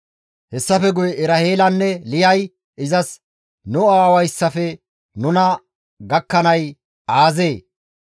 Hessafe guye Eraheelanne Liyay izas, «Nu aawayssafe nuna gakkanay aazee?